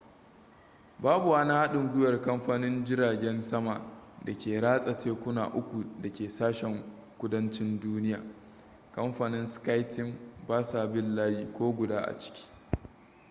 babu wani haɗin gwiwar kamfanin jiragen sama da ke ratsa tekuna uku da ke sashen kudancin duniya kamfanin sky team basa bin layi ko guda a ciki